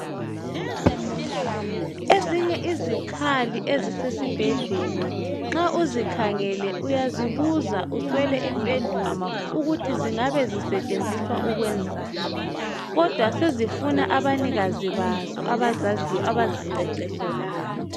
Ezinye izikhali ezisesibhedlela nxa uzikhangele uyazibuza uswele impendulo ukuthi zingabe zisetshenziswa ukwenzani, kodwa sezifuna abanikazi bazo abazaziyo abaziqeqetshelayo.